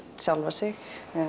sjálfan sig